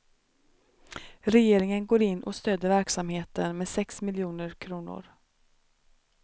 Regeringen går in och stöder verksamheten med sex miljoner kronor.